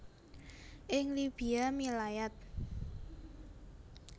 Ing Libya milayat